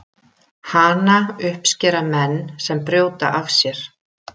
Hana uppskera menn sem brjóta af sér.